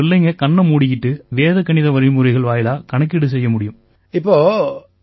இதனால பிள்ளைங்க கண்ணை மூடிக்கிட்டு வேத கணித வழிமுறைகள் வாயிலா கணக்கீடு செய்ய முடியும்